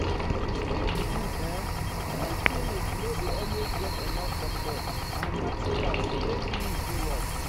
to speak the truth[um]village clinic not dey always get enough doctor and material to take use um do work.